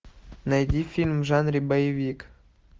найди фильм в жанре боевик